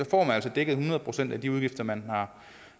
får man altså dækket hundrede procent af de udgifter man har